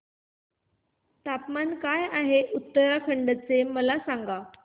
तापमान काय आहे उत्तराखंड चे मला सांगा